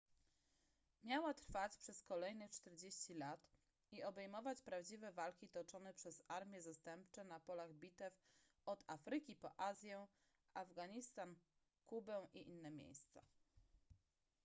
miała trwać przez kolejnych 40 lat i obejmować prawdziwe walki toczone przez armie zastępcze na polach bitew od afryki po azję afganistan kubę i inne miejsca